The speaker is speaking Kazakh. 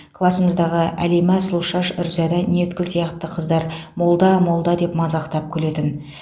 класымыздағы әлима сұлушаш үрзада ниеткүл сияқты қыздар молда молда деп мазақтап күлетін